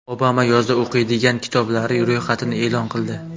Obama yozda o‘qiydigan kitoblari ro‘yxatini e’lon qildi.